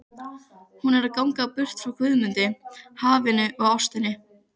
Hún er að ganga burt frá Guðmundi, hafinu og ástinni.